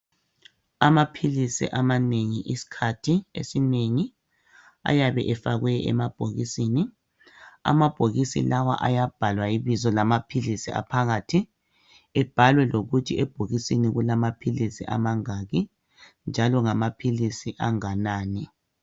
Amaphilisi amanengi iskhathi esinengi ayabe efakwe emabhokisini. Amabhokisi lawa ayabhalwa ibizo lamaphilisi aphakathi ebhalwe lokuthi ebhokisini kulamaphilisi amangaki njalo ngamaphilisi anganani